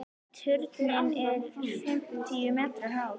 Turninn er fimmtíu metra hár.